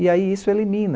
E aí isso elimina.